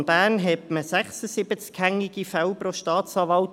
Im Kanton Bern hat man 76 hängige Fälle pro Staatsanwalt.